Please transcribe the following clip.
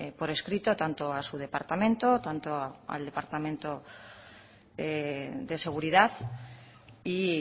por escrito tanto a su departamento tanto al departamento de seguridad y